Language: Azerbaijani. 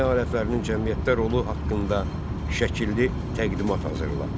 Əmək alətlərinin cəmiyyətdə rolu haqqında şəkilli təqdimat hazırla.